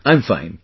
I'm fine